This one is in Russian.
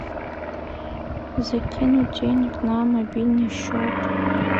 закинуть денег на мобильный счет